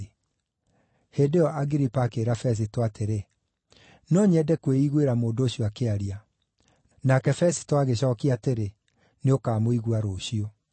Hĩndĩ ĩyo Agiripa akĩĩra Fesito atĩrĩ, “No nyende kwĩiguĩra mũndũ ũcio akĩaria.” Nake Fesito agĩcookia atĩrĩ, “Nĩũkamũigua rũciũ.”